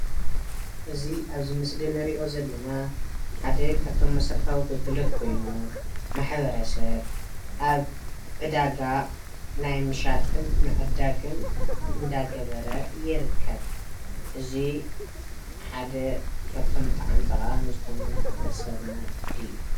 እዚ ኣብዚ ምስሊ ንርኦ ዘለና ሓደ ካፍቶም መሰረታዊ ግልጋሎት ኮይኑ ማሕ/ሰብ ኣብ ዕዳጋ ናይ ምሻጥን ምዕዳግን እዳተገበረ ይርከብ እዚ ሓደ ካብቶም ብጣዓሚ ጠቃሚ ዝኮኑ ማሕ/ሰብ እዩ።